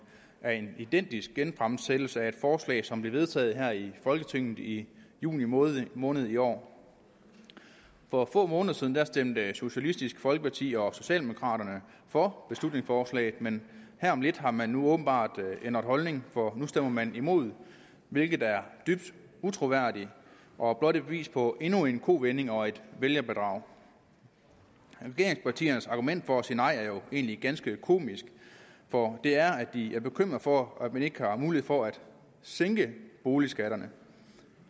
er en identisk genfremsættelse af et forslag som blev vedtaget her i folketinget i juni måned måned i år for få måneder siden stemte socialistisk folkeparti og socialdemokraterne for beslutningsforslaget men her om lidt har man åbenbart ændret holdning for nu stemmer man imod hvilket er dybt utroværdigt og blot et bevis på endnu en kovending og et vælgerbedrag regeringspartiernes argument for at sige nej er jo egentlig ganske komisk for det er at de er bekymret for at man ikke har mulighed for at sænke boligskatterne